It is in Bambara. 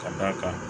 Ka d'a kan